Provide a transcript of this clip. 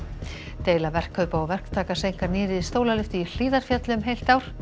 deila verkkaupa og verktaka seinkar nýrri stólalyftu í Hlíðarfjalli um heilt ár